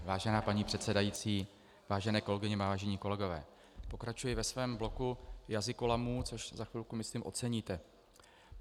Vážená paní předsedající, vážené kolegyně, vážení kolegové, pokračuji ve svém bloku jazykolamů, což za chvilku, myslím, oceníte.